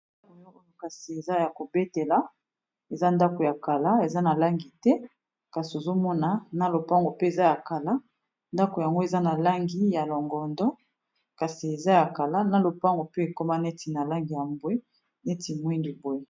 oyo kasi eza ya kobetela eza ndako ya kala eza na langi te kasi ozomona na lopango mpe eza ya kala ndako yango eza na langi ya longondo kasi eza ya kala na lopango mpe ekoma neti na langi ya mbwe neti mwingi boye